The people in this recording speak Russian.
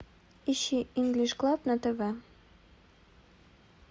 ищи инглиш клаб на тв